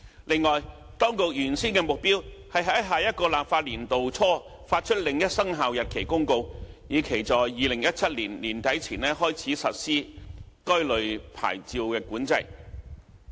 此外，當局原先的目標是在下一個立法年度初發出另一生效日期公告，以期在2017年年底前開始實施該類牌照管制。